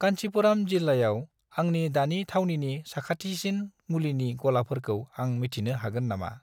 कान्चीपुराम जिल्लायाव आंनि दानि थावनिनि साखाथिसिन मुलिनि गलाफोरखौ आं मिथिनो हागोन नामा ?